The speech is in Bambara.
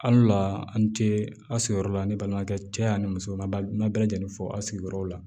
Hal'u la an ce aw sigiyɔrɔ la an ni balimakɛ cɛ ani musow ma bɛɛ lajɛlen fɔ a sigiyɔrɔ la